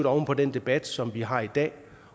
oven på den debat som vi har i dag